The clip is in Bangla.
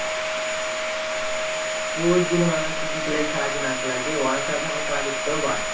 তোর জেনে দরকার কি কিসের লেগে খেলা আছে না খেলা আছে? ওরা খেলা আছে, আমরা খেলা দেখতে যাবো ব্যাস।